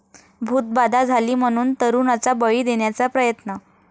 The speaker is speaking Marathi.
भूतबाधा झाली म्हणून तरूणाचा बळी देण्याचा प्रयत्न